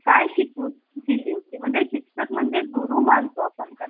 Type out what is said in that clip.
काय शिकवून दिली होती म्हणजेच शिक्षक म्हणजे गुरु मानतो आपण